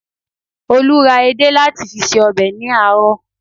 Olú ra edé láti fi se ọbẹ̀ ní àárọ̀